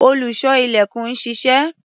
Olùṣọ́-ilẹ̀kùn ń ṣiṣẹ́.